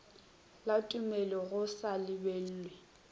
la tumello go sa lebellwe